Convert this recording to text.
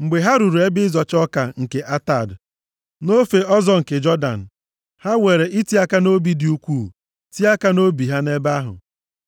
Mgbe ha ruru ebe ịzọcha ọka nke Atad, nʼofe ọzọ nke Jọdan, ha weere iti aka nʼobi dị ukwuu tie aka nʼobi ha nʼebe ahụ.